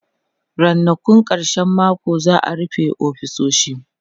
Rannakun karshen mako za'a rufe ofisoshi